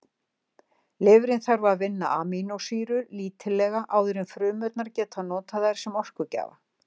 Lifrin þarf að vinna amínósýrur lítillega áður en frumurnar geta notað þær sem orkugjafa.